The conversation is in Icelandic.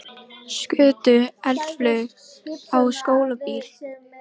Einhverra hluta vegna var alveg óþolandi að tapa í viðureign við ómálga barn.